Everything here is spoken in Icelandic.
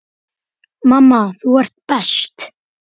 Mamma, þú ert best.